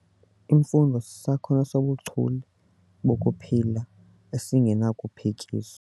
Imfundo sisakhono sobuchule bokuphila esingenakuphikiswa.